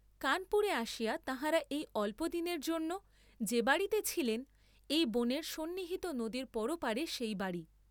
কানপুরে আসিয়া তাঁহারা এই অল্পদিনের জন্য যে বাড়ীতে ছিলেন, এই বনের সন্নিহিত নদীর পরপারে সেই বাড়ী।